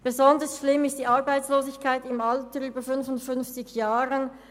Besonders schlimm ist die Arbeitslosigkeit im Alter von über 55 Jahren.